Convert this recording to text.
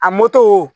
A